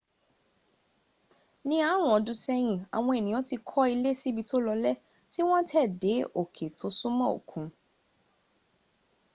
ní ọarun ọdún sẹ́yìn àwọn ènìyàn ti kọ́ ilé sí ibi tó lọlẹ́ tí wọ́n tẹ́ dé òké tó súmọ́ òkun